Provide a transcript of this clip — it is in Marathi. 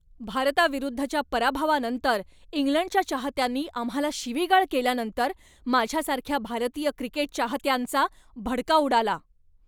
भारताविरुद्धच्या पराभवानंतर इंग्लंडच्या चाहत्यांनी आम्हाला शिवीगाळ केल्यानंतर माझ्यासारख्या भारतीय क्रिकेट चाहत्यांचा भडका उडाला.